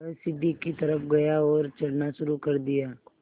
वह सीढ़ी की तरफ़ गया और चढ़ना शुरू कर दिया